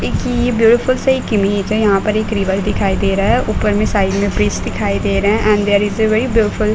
एक ये एक ब्यूटीफुल सी एक इमेज है। यहाँ पर एक रिवर दिखाई दे रहा है। ऊपर में साइड में ब्रिज दिखाई दे रहे हैं and there is a very beautiful --